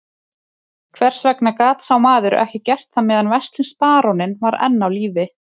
Hvers vegna gat sá maður ekki gert það meðan veslings baróninn var enn á lífi?